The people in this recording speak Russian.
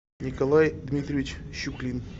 николай дмитриевич щуклин